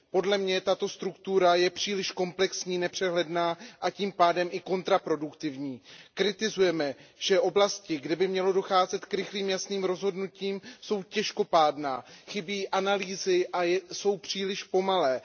Podle mě je tato struktura příliš komplexní, nepřehledná a tím pádem i kontraproduktivní. Kritizujeme, že oblasti, kde by mělo docházet k rychlým, jasným rozhodnutím, jsou těžkopádné, chybí analýzy a jsou příliš pomalé.